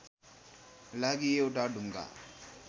लागि एउटा ढुङ्गा